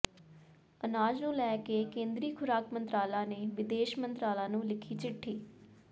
ਅਨਾਜ ਨੂੰ ਲੈ ਕੇ ਕੇਂਦਰੀ ਖੁਰਾਕ ਮੰਤਰਾਲਾ ਨੇ ਵਿਦੇਸ਼ ਮੰਤਰਾਲਾ ਨੂੰ ਲਿਖੀ ਚਿੱਠੀ